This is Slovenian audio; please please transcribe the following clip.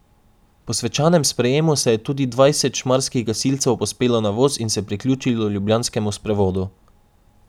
Po svečanem sprejemu se je tudi dvajset šmarskih gasilcev povzpelo na voz in se priključilo ljubljanskemu sprevodu.